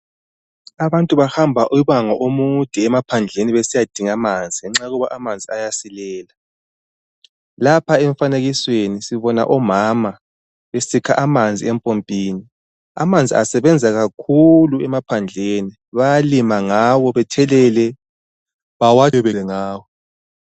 Abantu bahamba umango omude emaphandleni besiyadinga amanzi ngenxa yokuthi amanzi ayasilela , lapha emfanekisweni sibona omama besikha amanzi empompini amanzi asebenza kakhulu emaphandleni bayalima ngawo ,bethelele bawatshe ngawo .